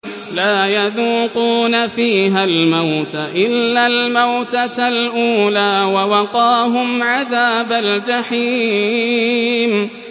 لَا يَذُوقُونَ فِيهَا الْمَوْتَ إِلَّا الْمَوْتَةَ الْأُولَىٰ ۖ وَوَقَاهُمْ عَذَابَ الْجَحِيمِ